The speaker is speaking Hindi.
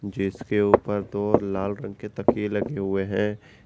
जिसके ऊपर दो लाल रंग के तकिए लगे हुए हैं।